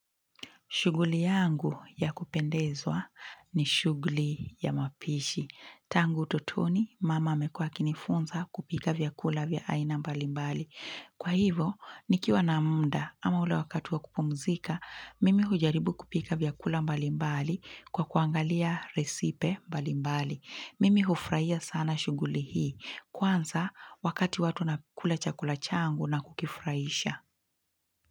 Shughuli yangu ya kupendezwa ni shughuli ya mapishi. Tangu utotoni, mama amekua akinifunza kupika vyakula vya aina mbalimbali. Kwa hivo, nikiwa na muda ama ule wakati wa kupumzika, mimi hujaribu kupika vyakula mbalimbali kwa kuangalia resipe mbalimbali. Mimi hufraia sana shuguyli hii. Kwanza, wakati watu wanakula chakula changu na kukifraisha.